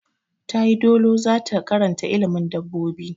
Ta yi dolo da zata karanta ilimin dabobbi.